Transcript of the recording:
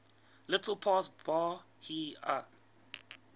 little past bahia